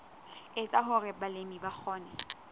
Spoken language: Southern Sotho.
etsa hore balemi ba kgone